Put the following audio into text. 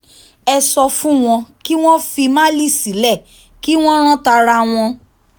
ẹ sọ fún wọn kí wọ́n fi málì sílẹ̀ kí wọ́n rán tara wọn